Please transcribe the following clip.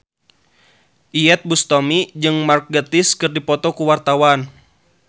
Iyeth Bustami jeung Mark Gatiss keur dipoto ku wartawan